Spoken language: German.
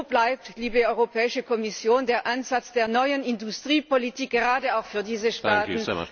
Und wo, liebe Europäische Kommission, bleibt der Ansatz der neuen Industriepolitik, gerade auch für diese Staaten?